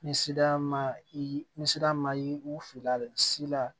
Ni sira ma yi ni sira ma ye u filila si la